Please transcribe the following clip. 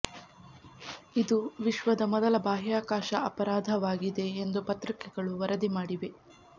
ಇದು ವಿಶ್ವದ ಮೊದಲ ಬಾಹ್ಯಾಕಾಶ ಅಪರಾಧವಾಗಿದೆ ಎಂದು ಪತ್ರಿಕೆಗಳು ವರದಿ ಮಾಡಿವೆ